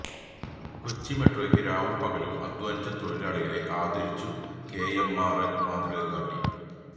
കൊച്ചി മെട്രോയ്ക്ക് രാവും പകലും അധ്വാനിച്ച തൊഴിലാളികളെ ആദരിച്ചു കെഎംആര്എല് മാതൃക കാട്ടി